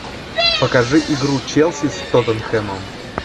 покажи игру челси с тоттенхэмом